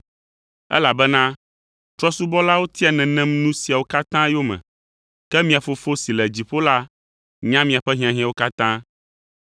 Elabena trɔ̃subɔlawo tia nenem nu siawo katã yome, ke mia Fofo si le dziƒo la nya miaƒe hiahiãwo katã.